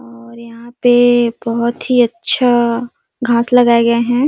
और यहाँ पे बहोत ही अच्छा घास लगाए गए है।